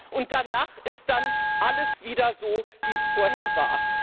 Und danach ist dann alles wieder so, wie es vorher war.